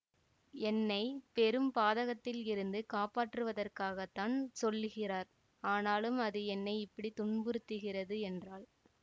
என்னை பெரும் பாதகத்திலிருந்து காப்பாற்றுவதற்காகத்தான் சொல்லுகிறார் ஆனாலும் அது என்னை இப்படி துன்புறுத்துகிறது என்றாள்